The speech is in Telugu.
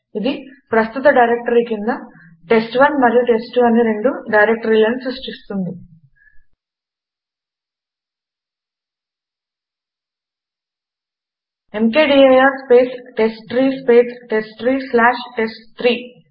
ఇది ప్రస్తుత డైరెక్టరీ కింద టెస్ట్1 మరియు టెస్ట్2 అని రెండు డైరెక్టరీలను సృష్టిస్తుంది M K D I R space test three space test three slash test three